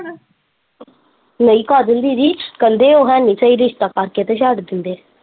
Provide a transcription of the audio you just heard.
ਨਹੀਂ ਕਾਜਲ ਦੀਦੀ ਕਹਿੰਦੇ ਉਹ ਹੈਨੀ ਸਹੀ ਰਿਸ਼ਤਾ ਕਰਕੇ ਤੇ ਛੱਡ ਦਿੰਦੇ।